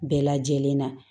Bɛɛ lajɛlen na